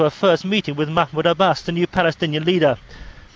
возьмите в лидо